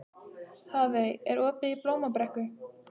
Hafey, er opið í Blómabrekku?